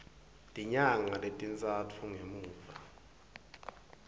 tinyanga letintsatfu ngemuva